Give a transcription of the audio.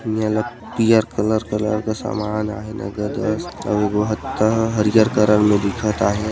येला पियर colour colour के समान आय हैं नगद आस हरियर कलर का दिखत आहे।